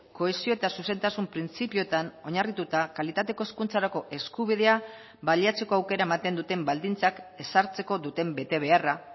kohesio eta zuzentasun printzipioetan oinarrituta kalitateko hezkuntzarako eskubidea baliatzeko aukera ematen duten baldintzak ezartzeko duten betebeharra